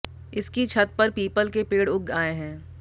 इसकी छत पर पीपल के पेड़ उग आये हैं